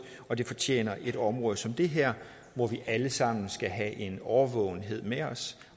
og det fortjener et område som det her hvor vi alle sammen skal have en årvågenhed med os